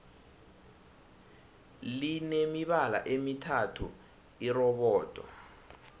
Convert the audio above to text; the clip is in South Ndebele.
line mibala emithathu irobodo